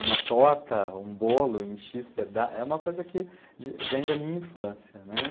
Uma torta, um bolo em X pedaços é uma coisa que vem da minha infância, né.